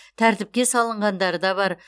тәртіпке салынғандары да бар